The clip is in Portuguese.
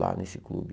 Lá nesse clube.